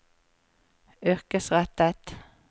yrkesrettet